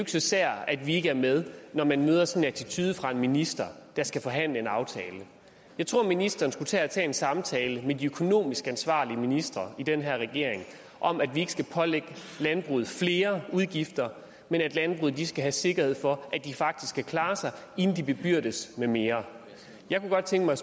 så sært at vi ikke er med når man møder sådan en attitude fra en minister der skal forhandle om en aftale jeg tror ministeren skulle tage en samtale med de økonomisk ansvarlige ministre i den her regering om at vi ikke skal pålægge landbruget flere udgifter men at landbruget skal have sikkerhed for at de faktisk kan klare sig inden de bebyrdes med mere jeg kunne godt tænke mig